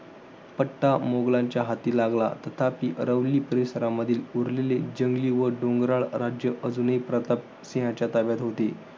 पट्टा मुघलांच्या हाती लागला. तथापि अरावली परिसरामधील उरलेले जंगली व डोंगराळ राज्य अजूनही प्रताप सिंहाच्या ताब्यात होते.